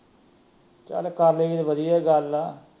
ਚੱਲ ਕਰ ਲਊਗੀ ਤਾ ਵਧੀਆ ਈ ਗੱਲ ਏ।